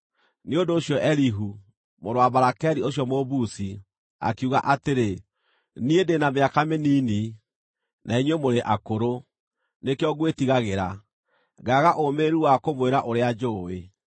Nĩ ũndũ ũcio Elihu, mũrũ wa Barakeli ũcio Mũbuzi, akiuga atĩrĩ: “Niĩ ndĩ na mĩaka mĩnini, na inyuĩ mũrĩ akũrũ; nĩkĩo ngwĩtigagĩra, ngaaga ũũmĩrĩru wa kũmwĩra ũrĩa njũũĩ.